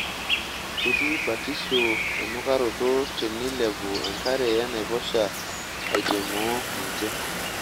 Ketii batisho enukaroto teneilepu enkare enaiposha aitenmoo ninje.